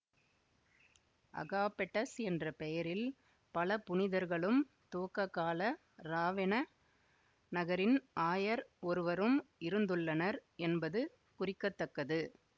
Agapetus என்ற பெயரில் பல புனிதர்களும் துவக்க கால இராவென நகரின் ஆயர் ஒருவரும் இருந்துள்ளனர் என்பது குறிக்க தக்கது